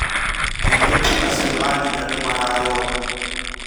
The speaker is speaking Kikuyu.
Airĩtu acio a nyina nĩ mara rũa